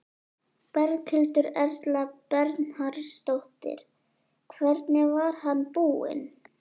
Berghildur Erla Bernharðsdóttir: Hvernig var hann búinn?